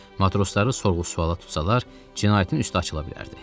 Matrosları sorğu-suala tutsalar, cinayətin üstü açıla bilərdi.